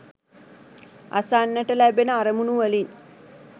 අසන්නට ලැබෙන අරමුණු වලින්